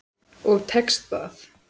Og tekst það.